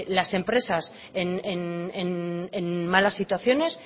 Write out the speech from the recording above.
las empresas en malas situaciones